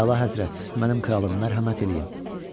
Əlahəzrət, mənim kralım, mərhəmət eləyin!